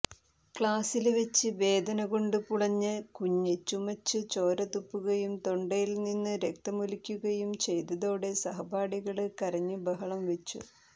ക്ലാസില് വെച്ച് വേദനകൊണ്ട് പുളഞ്ഞ കുഞ്ഞ് ചുമച്ച് ചോരതുപ്പുകയും തൊണ്ടയില് നിന്ന് രക്തമൊലിക്കുകയും ചെയ്തതോടെ സഹപാഠികള് കരഞ്ഞ് ബഹളം വെച്ചു